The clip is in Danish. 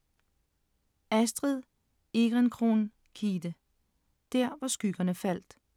Astrid Ehrencron-Kidde: Der hvor skyggerne faldt